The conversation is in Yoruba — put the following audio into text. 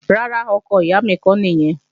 Rárá, ọkọ ìyá mi kọ́ nìyẹn